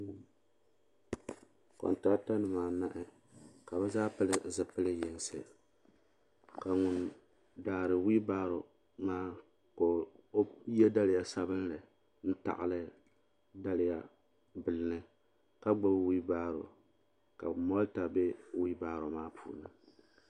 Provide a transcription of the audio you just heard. Kontrator nimaa nahi ka be ƶaa pili ƶipili yinsi ka ŋun daari whillbaaro ma ka O yɛ dalya sabilli ntagli dalya bil ni ka gbɛbi whillbaaro ka motor bɛ whillbaaro maa ni.